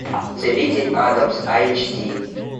целитель адамс айч ди